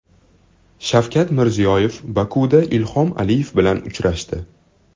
Shavkat Mirziyoyev Bokuda Ilhom Aliyev bilan uchrashdi.